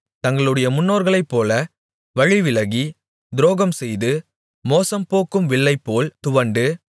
தங்களுடைய முன்னோர்களைப்போல வழிவிலகி துரோகம்செய்து மோசம்போக்கும் வில்லைப்போல் துவண்டு